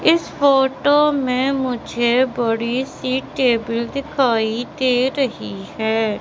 इस फोटो में मुझे बड़ी सी टेबल दिखाई दे रही है।